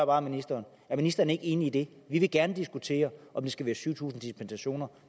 bare ministeren er ministeren ikke enig i det vi vil gerne diskutere om det skal være syv tusind dispensationer